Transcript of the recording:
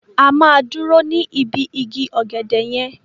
A máa dúró ní ibi igi ọ̀gẹ̀dẹ̀ yẹn.